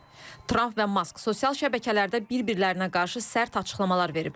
Tramp və Mask sosial şəbəkələrdə bir-birlərinə qarşı sərt açıqlamalar veriblər.